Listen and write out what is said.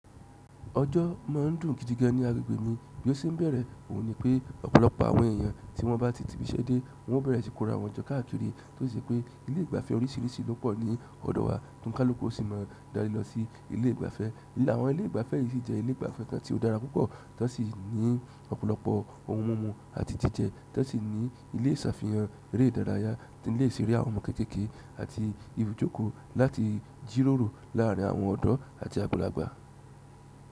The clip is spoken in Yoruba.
Òjò máa ń dùn gidige ni agbègbè ni bí o ṣe ń bẹ̀rẹ̀. Ohun ni pé ọ̀pọ̀lọpọ̀ àwọn èyàn tí wọ́n bá ti tibi ṣe dé wọ́n bẹ̀rẹ̀ sí kóra wọ́n jọ kóra wọ́n jọ káàkiri. Tó sì ṣe pé ilé ìgbafẹ́ oríṣiríṣi lọ́pọ̀ ni ọ̀dọ̀ wa tó ni kaluku o sì má darí lọ sí ilé ìgbafẹ́. Ìlà àwọn ilé ìgbafẹ́ yí sì jẹ́ ilé ìgbafẹ́ tán tí ó dára púpọ̀ tán sì ni ọ̀pọ̀lọpọ̀ ohun mímu àti jíjẹ tán sì ni ilé isafihan eré ìdárayá, ilé ìṣeré àwọn ọmọ kékèké àti ibujoko láti jíròrò láàrín àwọn ọ̀dọ́ àti àgbàlagbà.